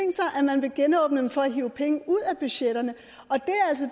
at man vil genåbne dem for at hive penge ud af budgetterne